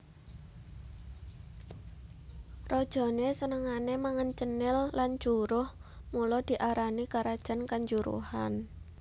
Rajané senengané mangan cenil lan juruh mula diarani karajan kanjuruhan